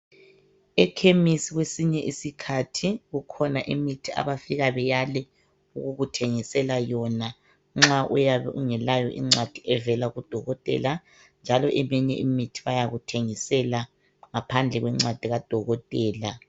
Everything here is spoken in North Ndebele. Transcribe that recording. Ekhemisi Kwesinye isikhathi kukhona imithi abafika beyale ukukuthengisela yona nxa uyabe ungelayo incwadi evela kudokotela njalo eminye imithi bayakuthengisela ngaphandle kwencwadi kadokotela .